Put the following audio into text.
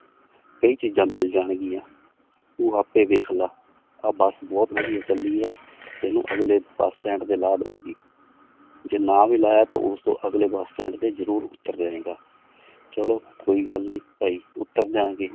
ਕਈ ਚੀਜ਼ਾਂ ਮਿਲ ਜਾਣਗੀਆਂ ਤੂੰ ਆਪੇ ਵੇਖ ਲਾ ਆਹ ਬਸ ਬਹੁਤ ਵਧੀਆ ਚੱਲਦੀ ਹੈ ਤੈਨੂੰ ਅਗਲੇ ਬਸ ਸਟੈਂਡ ਤੇ ਲਾਹ ਦੇਵਾਂਗੀ ਜੇ ਨਾ ਵੀ ਲਾਇਆ ਤਾਂ ਉਸ ਤੋਂ ਅਗਲੇ ਬਸ ਸਟੈਂਡ ਤੇ ਜ਼ਰੂਰ ਉੱਤਰ ਜਾਏਂਗਾ ਚਲੋ ਕੋਈ ਗੱਲ ਨੀ ਭਾਈ ਉਤਰ ਜਾਵਾਂਗੇ।